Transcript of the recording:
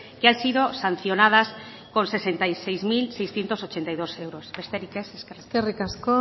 que han sido sancionadas con sesenta y seis mil seiscientos ochenta y dos euros besterik ez eskerrik asko eskerrik asko